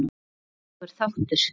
Hægur þáttur